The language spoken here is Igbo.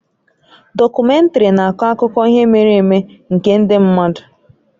Dọkumèntarị na-akọ akụkọ ihe mere eme nke ndị mmadụ